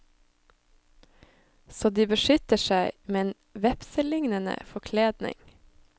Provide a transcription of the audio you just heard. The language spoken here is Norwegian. Så de beskytter seg med en vepselignende forkledning.